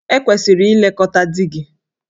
E kwesịrị ilekọta di gị.